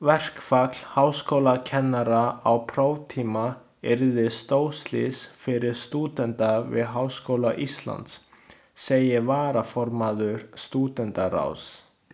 Verkfall háskólakennara á próftíma yrði stórslys fyrir stúdenta við Háskóla Íslands, segir varaformaður Stúdentaráðs.